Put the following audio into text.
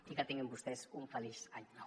i que tinguin vostès un feliç any nou